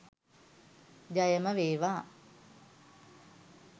ජයම වේවා